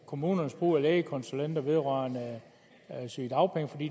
kommunernes brug af lægekonsulenter vedrørende sygedagpenge